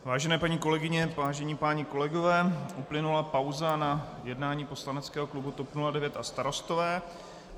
Vážené paní kolegyně, vážení páni kolegové, uplynula pauza na jednání poslaneckého klubu TOP 09 a Starostové.